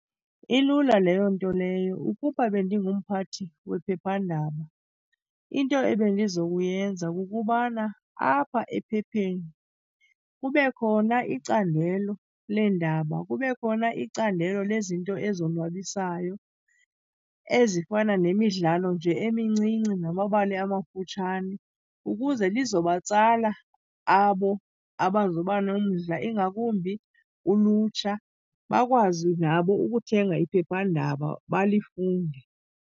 Ilula leyo nto leyo. Ukuba bendingumphathi wephephandaba, into ebendizokuyenza kukubana apha ephepheni kube khona icandelo leendaba, kube khona icandelo lezinto ezonwabisayo ezifana nemidlalo nje emincinci namabali amafutshane ukuze lizo batsala abo abazoba nomdla, ingakumbi ulutsha. Bakwazi nabo ukuthenga iphephandaba balifunde.